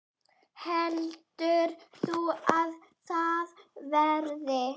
Heldur þú að það verði?